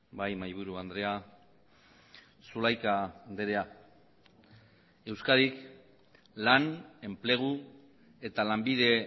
bai mahaiburu andrea zulaika andrea euskadik lan enplegu eta lanbide